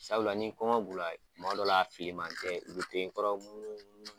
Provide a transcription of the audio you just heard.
Sabula ni kɔngɔ b'u la, kuma dɔw la a filiman tɛ, u be to i kɔrɔ munu munu